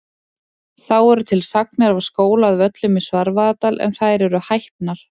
Þá eru til sagnir af skóla að Völlum í Svarfaðardal en þær eru hæpnar.